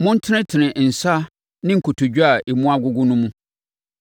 Montenetene nsa ne nkotodwe a emu agogo no mu.